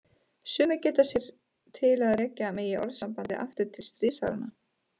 Sumir geta sér þess til að rekja megi orðasambandið aftur til stríðsáranna.